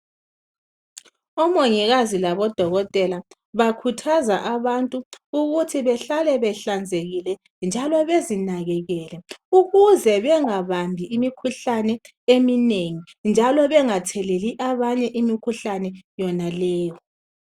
Omongikazi labodokotela bakhuthaza abantu ukuthi behlale behlanzekile njalo bezinakekele ukuze bengabambi imikhuhlane eminengi njalo bengatheleli abanye imikhuhlane yonaleyo.